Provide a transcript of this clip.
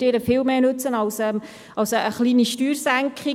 Dies würde ihr viel mehr nützen als eine kleine Steuersenkung.